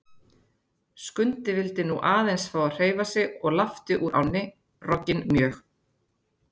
Skundi vildi nú aðeins fá að hreyfa sig og lapti úr ánni, rogginn mjög.